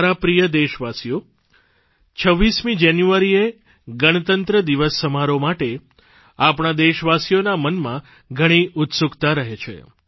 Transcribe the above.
મારા પ્રિય દેશવાસીઓ 26 જાન્યુઆરીએ ગણતંત્ર દિવસ સમારોહ માટે આપણા દેશવાસીઓના મનમાં ઘણી ઉત્સુકતા રહે છે